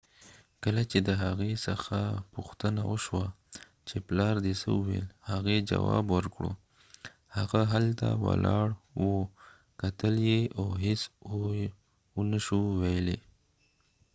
کله چې د هغې څخه پوښتنه وشوه چې پلار دي څه وويل ، هغې جواب ورکړ : هغه هلته ولاړ و کتل یې او هیڅ و نه شو ويلای